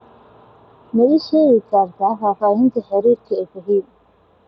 ma ii sheegi kartaa faahfaahinta xiriirka ee fahim